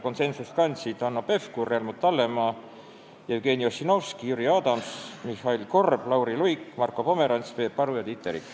Konsensusele jõudsid Hanno Pevkur, Helmut Hallemaa, Jevgeni Ossinovski, Jüri Adams, Mihhail Korb, Lauri Luik, Marko Pomerants, Peep Aru ja Tiit Terik.